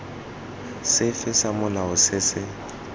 sefe sa molao se se